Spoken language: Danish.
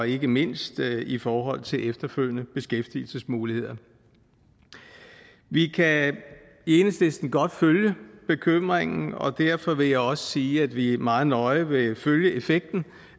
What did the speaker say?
ikke mindst i forhold til efterfølgende beskæftigelsesmuligheder vi kan i enhedslisten godt følge bekymringen og derfor vil jeg også sige at vi meget nøje vil følge effekten